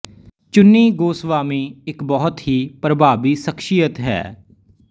ਚੁੰਨੀ ਗੋਸਵਾਮੀ ਇੱਕ ਬਹੁਤ ਹੀ ਪਰਭਾਵੀ ਸ਼ਖਸੀਅਤ ਹੈ